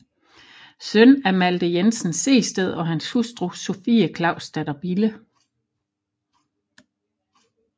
Søn af Malte Jensen Sehested og hans hustru Sophie Clausdatter Bille